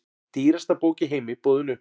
Dýrasta bók í heimi boðin upp